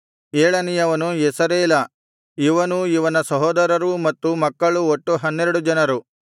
ಏಳನೇಯವನು ಯೆಸರೇಲ ಇವನೂ ಇವನ ಸಹೋದರರೂ ಮತ್ತು ಮಕ್ಕಳು ಒಟ್ಟು ಹನ್ನೆರಡು ಜನರು